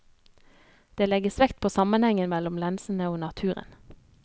Det legges vekt på sammenhengen mellom lensene og naturen.